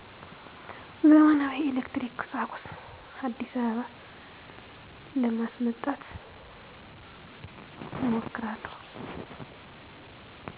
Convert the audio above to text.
ዘመናዊ የኤሌክትሪክ ቁሣቁሥ። አዲስአበባ ለማስመጣት እሞክራለሁ።